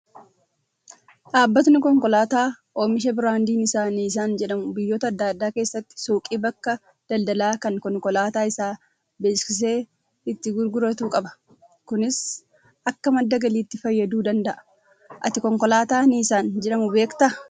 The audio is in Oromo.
Dhaabbatni konkolaataa oomisha biraandiin isaa Niisaan jedhamu biyyoota adda addaa keessatti suuqii bakka daldalaa kan konkolaataa isaa beeksisee itti gurguratu qaba. Kunis akka madda galiitti fayyaduu danda'a. Ati konkolaataa Niisaan jedhamu beektaa?